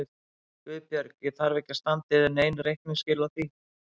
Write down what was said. GUÐBJÖRG: Ég þarf ekki að standa yður nein reikningsskil á því.